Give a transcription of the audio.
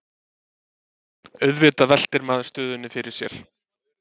Auðvitað veltir maður stöðunni fyrir sér